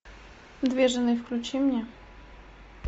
две жены включи мне